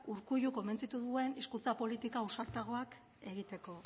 urkullu konbentzitu duen hizkuntza politika ausartagoak egiteko